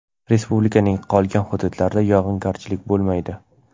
Respublikaning qolgan hududlarida yog‘ingarchilik bo‘lmaydi.